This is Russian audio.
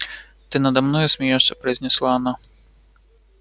ты надо мной смеёшься произнесла она